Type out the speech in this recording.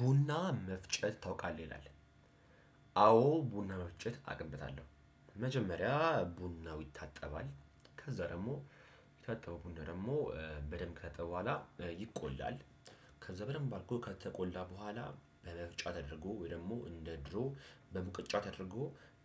ቡና መፍጨት ታውቃለህ ይላል? አዎ ቡና መፍጨት አቅበታለሁ። መጀመሪያ ቡናው ይታጠባል ከዛ ደግሞ የታጠበው ቡና ደግሞ በደንብ ከታጠበ በኋላ ይቆላል። ከዛ በደንብ አርጎ ከተቆላ በኋላ በመፍጫ ተደርጎ ወይ ደግሞ እንደ ድሮ በሙቀጫ ተደርጎ